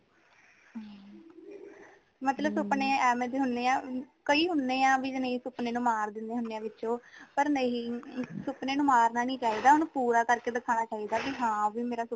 ਮਤਲਬ ਸੁਪਨੇ ਐਵੇਂ ਦੇ ਹੋਂਦੇ ਹਾ ਕਈ ਹੋਂਦੇ ਹਾ ਬਈ ਸੁਪਨੇ ਨੂੰ ਮਾਰ ਦੇਂਦੇ ਹੋਂਦੇ ਹਾ ਵਿੱਚੋ ਪਰ ਨਹੀਂ ਸੁਪਨੇ ਨੂੰ ਮਾਰਨਾ ਨਹੀਂ ਚਾਹੀਦਾ ਓਹਨੂੰ ਪੂਰਾ ਕਰਕੇ ਦਿਖਾਨਾ ਚਾਹੀਦਾ ਬਈ ਹਾਂ ਮੇਰਾ ਸੁਪਨਾ